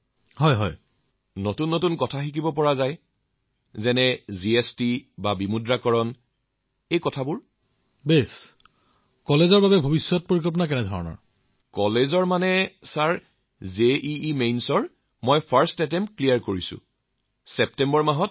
কিন্তু চিকিৎসকসকলৰ জীৱনৰ সমাজৰ প্ৰতি সমৰ্পিত হয়